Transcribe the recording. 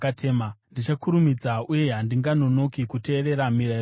Ndichakurumidza uye handinganonoki kuteerera mirayiro yenyu.